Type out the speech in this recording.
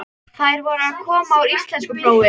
Þær voru að koma úr íslenskuprófi.